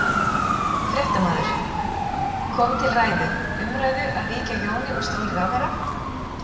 Fréttamaður: Kom til ræðu, umræðu að víkja Jóni úr stóli ráðherra?